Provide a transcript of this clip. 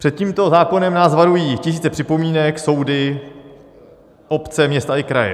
Před tímto zákonem nás varují tisíce připomínek, soudy, obce, města i kraje.